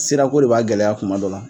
Sirako de b'a gɛlɛya kuma dɔ la